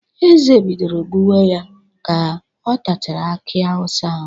Eze bidoro gbuwe ya ka ọ tachara aki awụsa ahụ